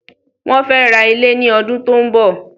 Wọ́n fẹ́ ra ilẹ̀ ní ọdún tí ó ń bọ̀.